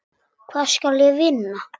Hvað skal ég vinna?